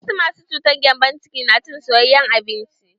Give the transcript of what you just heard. Wasu masu cutar gembon ciki na cin soyayen abinci.